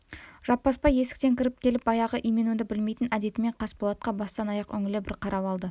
жаппасбай есіктен кіріп келіп баяғы именуді білмейтін әдетімен қасболатқа бастан аяқ үңіле бір қарап алды